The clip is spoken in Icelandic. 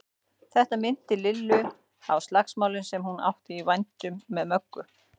Þetta minnti Lillu á slagsmálin sem hún átti í vændum með Möggu.